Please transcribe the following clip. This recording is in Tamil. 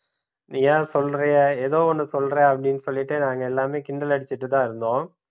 ஏன் சொல்றீங்க ஏதோ ஒன்னு சொல்றேன் அப்படின்னு சொல்லிட்டு நான் எல்லாமே கிண்டல் அடிச்சிட்டு தான் இருந்தோம்